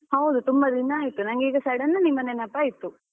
ಹೌದು ತುಂಬಾ ದಿನ ಆಯ್ತು ನಂಗೆ ಈಗ sudden ನಿಮ್ಮ ನೆನಪಾಯ್ತು.